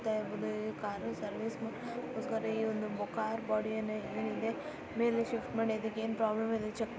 car ನ service ಮಾಡ car body ಏನ್ಏನ್ ಇದೆ ಮೇಲೆ ಶಿಫ್ಟ್ ಮಾಡಿ ಅದಕೆ ಏನ್ ಪ್ರಾಬ್ಲಮ್ ಇದೆ ಚೆಕ್ --